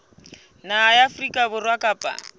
naha ya afrika borwa kapa